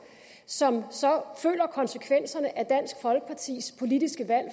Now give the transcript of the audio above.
som så føler konsekvenserne af dansk folkepartis politiske valg